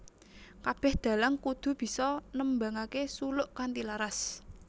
Kabeh dalang kudu bisa nembangake suluk kanthi laras